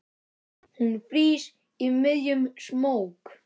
Hún frýs í miðjum smók.